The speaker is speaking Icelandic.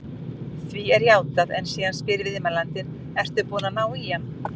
Því er játað en síðan spyr viðmælandinn: Ert þú búinn að ná á hann?